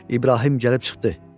İbrahim gəlib çıxdı.